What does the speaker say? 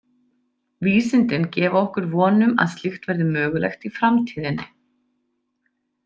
Vísindin gefa okkur von um að slíkt verði mögulegt í framtíðinni.